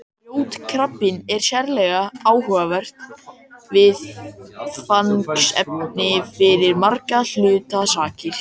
Grjótkrabbinn er sérlega áhugavert viðfangsefni fyrir margra hluta sakir.